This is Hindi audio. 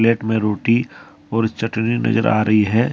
प्लेट में रोटी और चटनी नजर आ रही है।